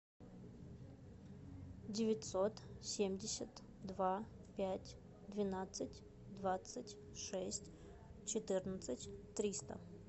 девятьсот семьдесят два пять двенадцать двадцать шесть четырнадцать триста